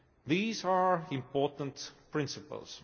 These are important principles.